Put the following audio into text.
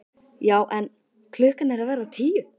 Já en. klukkan er að verða tíu!